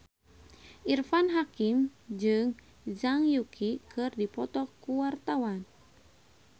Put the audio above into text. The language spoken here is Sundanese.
Irfan Hakim jeung Zhang Yuqi keur dipoto ku wartawan